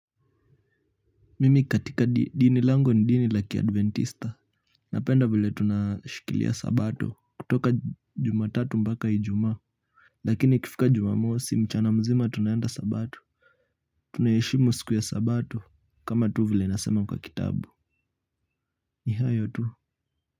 Mimi katika dini langu ni dini la kiadventista napenda vile tunashikilia sabato kutoka Jumatatu mpaka Ijumaa lakini ikifika Jumamosi mchana mzima tunaenda sabato. Tunaheshimu siku ya sabato kama tu vile inasema kwa kitabu ni hayo tu.